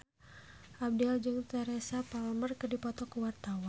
Abdel jeung Teresa Palmer keur dipoto ku wartawan